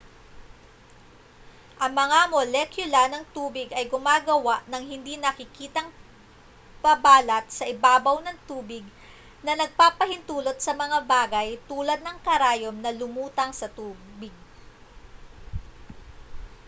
ang mga molekula ng tubig ay gumagawa ng hindi nakikitang pabalat sa ibabaw ng tubig na nagpapahintulot sa mga bagay tulad ng karayom na lumutang sa tubig